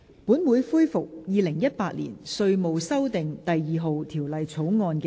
本會恢復《2018年稅務條例草案》的二讀辯論。